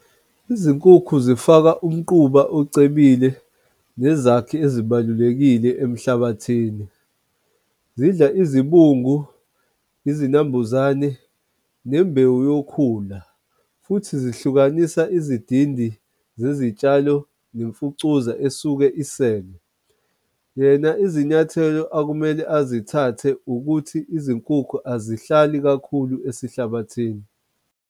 Izinkukhu zifaka umquba ocebile nezakhi ezibalulekile emhlabathini. Zidla izibungu, izinambuzane nembewu yokhula, futhi zihlukanisa izidindi zezitshalo nemfucuza esuke isele. Yena izinyathelo akumele azithathe ukuthi izinkukhu azihlali kakhulu esihlabathini.